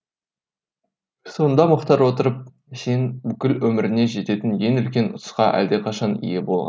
сонда мұхтар отырып сен бүкіл өміріңе жететін ең үлкен ұтысқа әлдеқашан ие болған